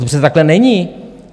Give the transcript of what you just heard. To přece takhle není.